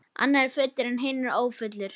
Annar er fullur en hinn ófullur.